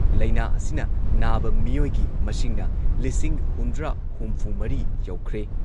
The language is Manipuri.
ꯂꯩꯅꯥ ꯑꯁꯤꯅ ꯅꯥꯕ ꯃꯤꯑꯣꯏꯒꯤ ꯃꯁꯤꯡꯅ ꯂꯤꯁꯤꯡ ꯍꯨꯝꯗ꯭ꯔꯥ ꯍꯨꯝꯐꯨꯃꯔꯤ ꯌꯧꯈ꯭ꯔꯦ꯫